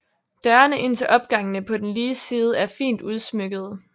Dørene ind til opgangene på den lige side er fint udsmykkede